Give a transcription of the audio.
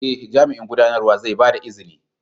Ee, Jami'in Gudanarwa zai ba ta izini.